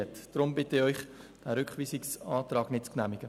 Deshalb bitte ich den Rat, den Rückweisungsantrag nicht zu genehmigen.